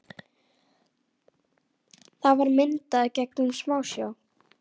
Það var myndað gegnum smásjá.